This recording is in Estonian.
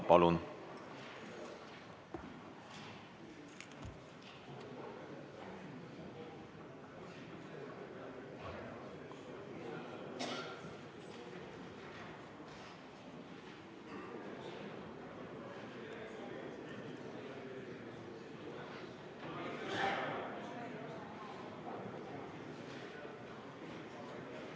Palun!